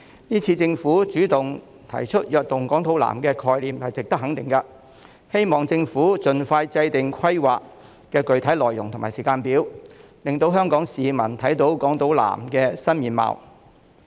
這次政府主動提出"躍動港島南"的概念，是值得肯定的，希望政府盡快制訂規劃的具體內容和時間表，令香港市民看到港島南區的新面貌。